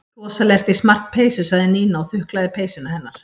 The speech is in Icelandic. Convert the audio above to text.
Rosalega ertu í smart peysu sagði Nína og þuklaði peysuna hennar.